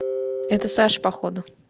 это саша походу